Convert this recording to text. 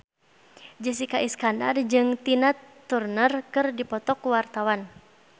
Jessica Iskandar jeung Tina Turner keur dipoto ku wartawan